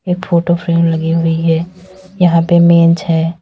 एक photo frame लगी हुई है यहां पे मेंज है।